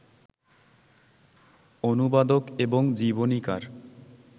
অনুবাদক এবং জীবনীকার